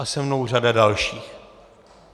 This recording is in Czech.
A se mnou řada dalších.